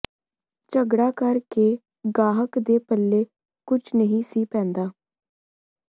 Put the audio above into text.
ਝਗੜਾ ਕਰ ਕੇ ਗਾਹਕ ਦੇ ਪੱਲੇ ਕੁਝ ਨਹੀਂ ਸੀ ਪੈਂਦਾ